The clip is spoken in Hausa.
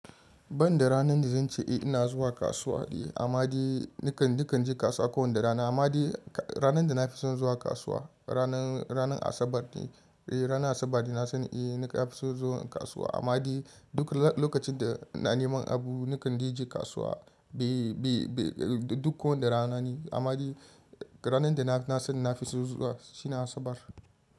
Banda ranar da zan ce eh ina zuwa kasuwa eh, amma dai na kan je kasuwa kowane rana. Amma dai ranar da na fi son zuwa kasuwa, ranar Asabar ne. Eh, ranar Asabar na san eh na fi son zuwa kasuwa. Amma dai duk lokacin da na neman abu ni kan je kasuwa duk kowane rana ne. Amma ranar da na san na fi son zuwa shi ne Asabar.